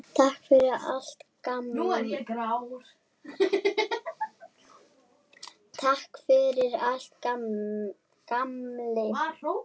Takk fyrir allt, gamli.